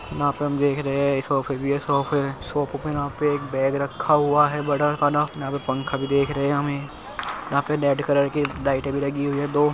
यहाँ पे हम देख रहे है सोफ़े भी है सोफ़े । सोफों पे यहाँ पे एक बैग रखा हुए है बड़ा यहाँ पे पंखा भी देख रहे है हमे यहाँ पे रेड कलर की लाइटे भी लगी हुई है दो।